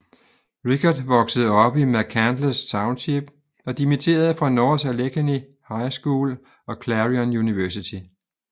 Richert voksede op i McCandless Township og dimitterede fra North Allegheny High School og Clarion University